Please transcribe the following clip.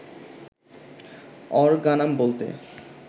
অরগানাম বলতে